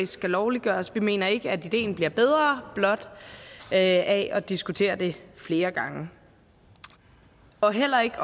skal lovliggøres vi mener ikke at ideen bliver bedre af blot at at diskutere det flere gange og heller ikke